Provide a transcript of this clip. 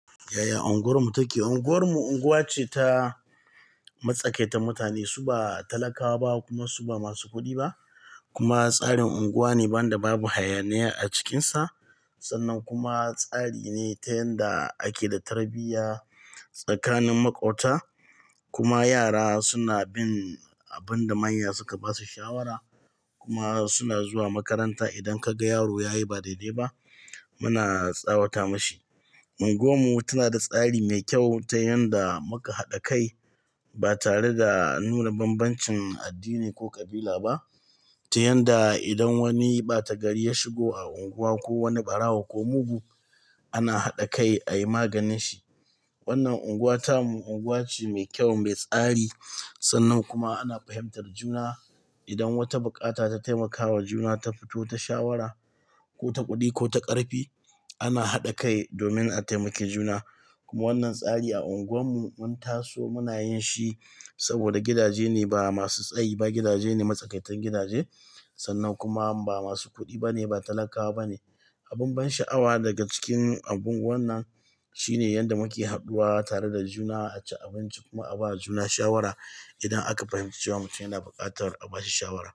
Yaya unguwarmu take? Unguwarmu unguwa ce ta matsakaita. Mutane su ba talakawa ba kuma su ba masu kuɗi ba, kuma tsarin unguwa ne wandan da babu hayaniya a cikinsa. Sannan kuma tsari ne ta yanda ake da tarbiyya tsakanin maƙwabta kuma yara suna bin abin da manya suka ba su shawara kuma suna zuwa makaranta. Idan ka ga yaro ya yi ba dai-dai ba muna tsawata mashi. Unguwarmu tana da tsari mai kyau ta yanda muka haɗa kai ba tare da nuna bambancin addini ko kabila ba, ta yanda idan wani ɓata gari ya shigo a unguwa ko wani ɓarawo ko mugu ana haɗa kai ayi maganin shi. Wannan unguwa ta mu unguwa ce mai kyau mai tsari. Sannan kuma ana fahimtar juna. Idan wata buƙata ta taimakawa juna ta fito ta shawara ko ta kuɗi ko ta ƙarfi, ana haɗa kai domin a taimaki juna. Kuma wannan tsari a unguwar mu mun taso munayin shi saboda gidaje ne ba masu tsayi ba, gidaje ne matsakaitan gidaje sannan kuma ba masu kuɗi bane, ba talakawa bane. Abin ban sha'awa daga cikin abin wannan shine yanda muke hadduwa tare da juna, ace abinci kuma a ba da juna shawara. Idan aka fahimci cewa mutum yana buƙatar a bashi shawara.